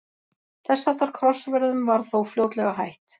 þess háttar krossferðum var þó fljótlega hætt